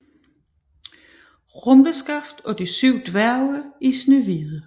Rumleskaft og de syv dværge i Snehvide